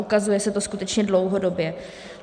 Ukazuje se to skutečně dlouhodobě.